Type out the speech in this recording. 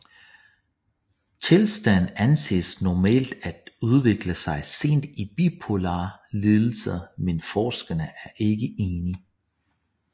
Tilstanden anses normalt at udvikle sig sent i bipolar lidelse men forskerne er ikke enige